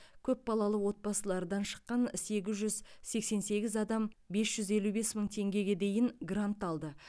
көпбалалы отбасылардан шыққан сегіз жүз сексен сегіз адам бес жүз елу бес мың теңгеге дейін грант алды